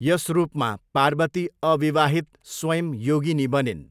यस रूपमा पार्वती अविवाहित स्वयं योगिनी बनिन्।